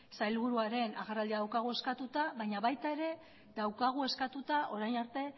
sailburuaren agerraldia daukagu eskatuta baina baita ere daukagu eskatuta orain arte